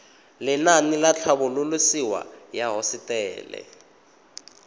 lenaane la tlhabololosewa ya hosetele